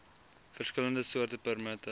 verskillende soorte permitte